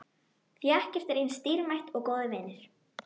Því ekkert er eins dýrmætt og góðir vinir.